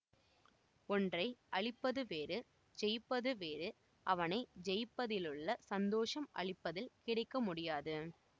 ஒன்றை அழிப்பது வேறு ஜெயிப்பது வேறு அவனை ஜெயிப்பதிலுள்ள சந்தோஷம் அழிப்பதில் கிடைக்க முடியாது